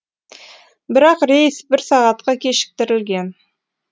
бірақ рейс бір сағатқа кешіктірілген